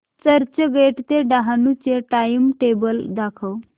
चर्चगेट ते डहाणू चे टाइमटेबल दाखव